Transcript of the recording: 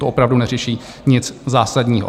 To opravdu neřeší nic zásadního.